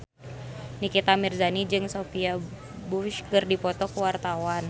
Nikita Mirzani jeung Sophia Bush keur dipoto ku wartawan